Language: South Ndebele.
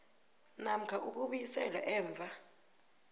namkha ukubuyiselwa emva